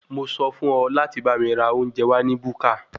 Mo sọ fún ọ láti bá mi ra oúnjẹ wá ní búkà.